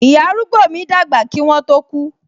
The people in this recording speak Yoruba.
Ìyá arúgbó mi dàgbà kí wọn tó ku